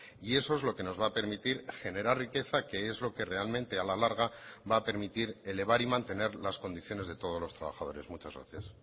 y eso es lo que nos va a permitir generar riqueza que es lo que realmente a la larga va a permitir elevar y mantener las condiciones de todos los trabajadores muchas gracias